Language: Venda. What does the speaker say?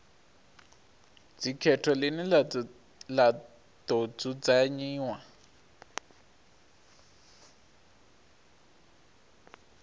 dzikhetho ḽine ḽa ḓo dzudzanyiwa